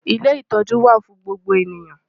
Ilé ìtọ́jú wà fún gbogbo ènìyàn.